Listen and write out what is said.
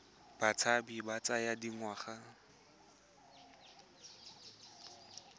a botshabi a tsaya dingwaga